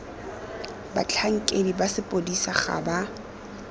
batlhankedi ba sepodisi ga ba